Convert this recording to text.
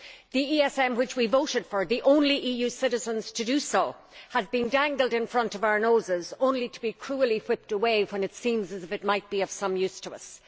The ESM which we voted for the only EU citizens to do so has been dangled in front of our noses only to be cruelly whipped away when it seemed as if it might be of some use to us.